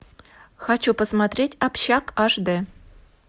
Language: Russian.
хочу посмотреть общак аш дэ